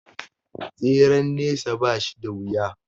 Tseren nesa ba shi da wuya